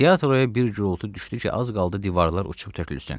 Teatroya bir gurultu düşdü ki, az qaldı divarlar uçub tökülsün.